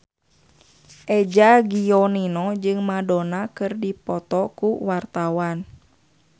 Eza Gionino jeung Madonna keur dipoto ku wartawan